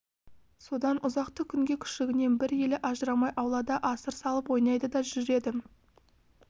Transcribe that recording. содан ұзақты күнге күшігінен бір елі ажырамай аулада асыр салып ойнайды да жүреді